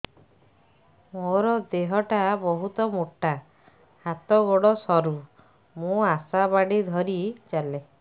ମୋର ଦେହ ଟା ବହୁତ ମୋଟା ହାତ ଗୋଡ଼ ସରୁ ମୁ ଆଶା ବାଡ଼ି ଧରି ଚାଲେ